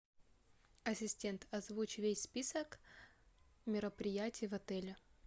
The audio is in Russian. ассистент озвучь весь список мероприятий в отеле